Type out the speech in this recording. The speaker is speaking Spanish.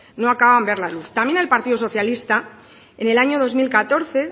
no acaban de ver la luz también el partido socialista en el año dos mil catorce